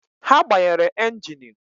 He gbanyere engini